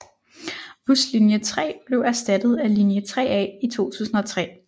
Buslinje 3 blev erstattet af linje 3A i 2003